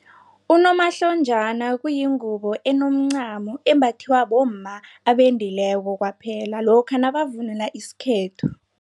Unomahlonjana kuyingubo enomncamo, embathiwa bomma abendileko kwaphela lokha nabavunula isikhethu.